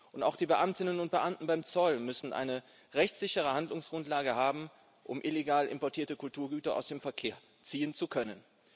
Und auch die Beamtinnen und Beamten beim Zoll müssen eine rechtssichere Handlungsgrundlage haben, um illegal importierte Kulturgüter aus dem Verkehr ziehen zu können.